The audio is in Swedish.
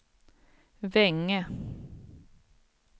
Vänge